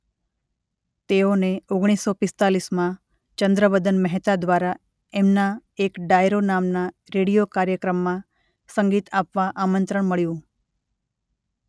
તેઓને ઓગણીસ સૌ પિસ્તાલીસ માં ચંદ્રવદન મહેતા દ્વારા એમના એક ડાયરો નામના રેડીઓ કાર્યક્રમમાં સંગીત આપવા આમંત્રણ મળ્યું.